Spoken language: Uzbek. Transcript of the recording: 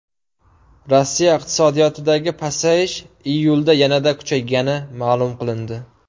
Rossiya iqtisodiyotidagi pasayish iyulda yanada kuchaygani ma’lum qilindi.